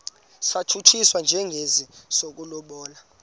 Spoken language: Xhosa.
satshutshiswa njengesi sokulobola